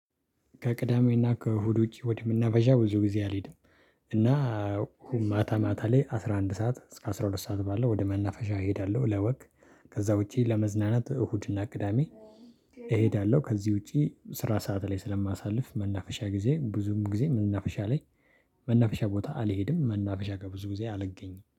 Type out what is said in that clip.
ከቅዳሜና ከእሁድ ውጪ ወደ መናፈሻ ብዙ ጊዜ አልሄድም። እና ማታ ማታ ላይ አስራ አንድ ሰዓት እስከ አስራ ሁለት ሰዓት ባለው ወደ መናፈሻ እሄዳለሁ ለወክ። ከዛ ውጪ ለመዝናናት እሁድና ቅዳሜ። እሄዳለሁ ከዚህ ውጪ ስራ ሰዓት ላይ ስለማሳልፍ መናፈሻ ጊዜ ብዙም ጊዜ መናፈሻ ላይ። መናፈሻ ቦታ አልሄድም መናፈሻ ከብዙ ጊዜ አልገኝም